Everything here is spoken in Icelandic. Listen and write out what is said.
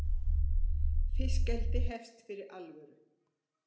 Fiskeldið hefst fyrir alvöru